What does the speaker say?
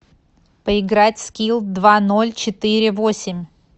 поиграть в скилл два ноль четыре восемь